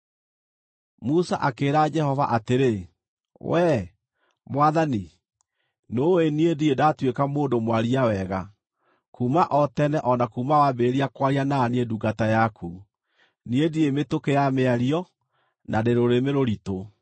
Musa akĩĩra Jehova atĩrĩ, “Wee, Mwathani, nĩũũĩ niĩ ndirĩ ndatuĩka mũndũ mwaria wega, kuuma o tene o na kuuma wambĩrĩria kwaria na niĩ ndungata yaku. Niĩ ndirĩ mĩtũkĩ ya mĩario, na ndĩ rũrĩmĩ rũritũ.”